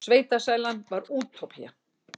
Sveitasælan var útópía.